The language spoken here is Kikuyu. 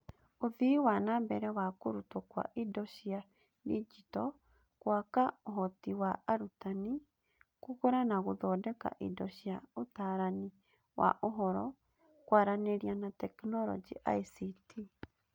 Ũthii wa na mbere wa kũrutwo kwa indo cia digito; gwaka ũhoti wa arutani; kũgũra na gũthondeka indo cia Ũtaarani wa Ũhoro, Kwaranĩria na Teknoroji (ICT).